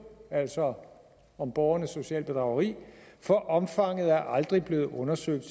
altså om om borgernes sociale bedrageri for omfanget er aldrig blevet undersøgt